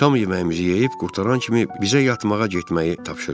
Şam yeməyimizi yeyib qurtaran kimi bizə yatmağa getməyi tapşırdılar.